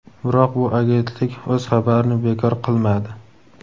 Biroq bu agentlik o‘z xabarini bekor qilmadi.